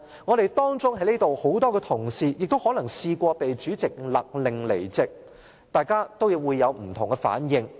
在席的同事當中可能也有人試過被主席勒令離開會議廳，大家也會有不同的反應。